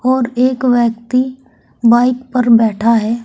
और एक व्यक्ति बाइक पर बैठा है।